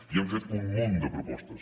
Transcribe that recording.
i hem fet un munt de propostes